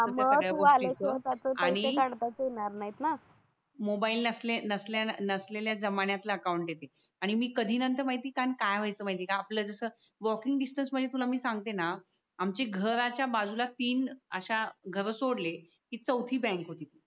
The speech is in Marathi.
मोबाईल नसलेल्या नसलेल्या जमान्यातल अकाउंट आहे ते आणि मी कधी न काय व्हायचं माहित आहे का आपल जस वॉकिंग डिस्टन्स म्हणजे मी तुला सांगते न आमच्या घराच्या बाजूला तीन घर अश्या सोडले कि चौथी बँक होती ती